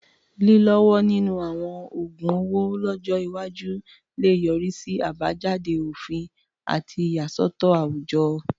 Lílọ́wọ́ nínú àwọn oògun owó lọ́jọ́ iwájú lè yọrí sí àbájáde òfin àti ìyàsọ́tọ̀ àwùjọ.